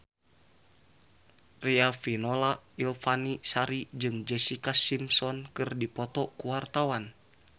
Riafinola Ifani Sari jeung Jessica Simpson keur dipoto ku wartawan